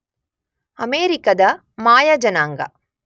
ಅಮೆರಿಕದ ಮಾಯ ಜನಾಂಗ